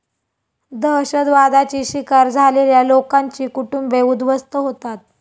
दहशतवादाची शिकार झालेल्या लोकांची कुटुंबे उद्ध्वस्त होतात.